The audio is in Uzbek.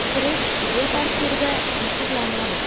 Kirish videotasvirga muhrlanadi.